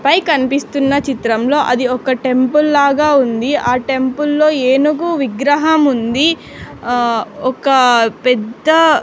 పై కన్పిస్తున్న చిత్రంలో అది ఒక టెంపుల్ లాగా ఉంది ఆ టెంపుల్లో ఏనుగు విగ్రహముంది ఆ ఒక పెద్ద--